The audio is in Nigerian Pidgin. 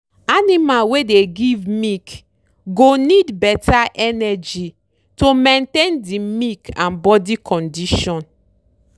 animal wey dey give milk go need better energy to maintain the milk and body condition.